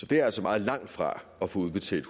det er altså meget langt fra at få udbetalt